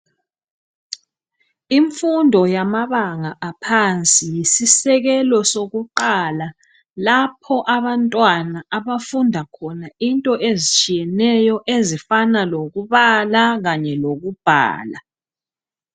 Imfundo yabanga aphansi yisisekelo sokuqala lapho abantwana abafunda khona into ezitshiyeneyo ezifana lokubala kanye lokubhala